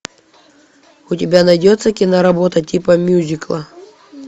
у тебя найдется киноработа типа мюзикла